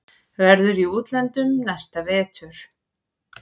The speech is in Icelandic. Verður í útlöndum næsta vetur.